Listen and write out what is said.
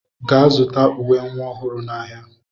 Gaa zụta uwe nwa ọhụrụ n'ahịa!